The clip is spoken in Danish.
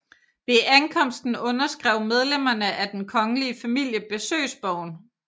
Ved ankomsten underskrev medlemmerne af den kongelige familie besøgsbogen